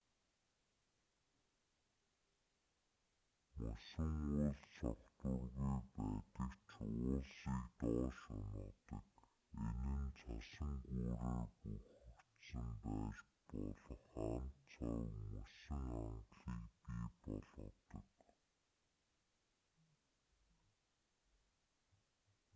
мөсөн уулс тогтворгүй байдаг ч уулсыг доош унагадаг энэ нь цасан гүүрээр бүрхэгдсэн байж болох ан цав мөсөн ангалыг бий болгодог